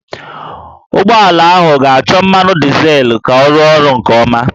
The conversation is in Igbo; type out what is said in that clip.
Ụgbọala ahụ ga-achọ mmanụ dizel ka ọ rụọ ọrụ nke ọma